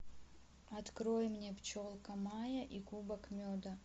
открой мне пчелка майя и кубок меда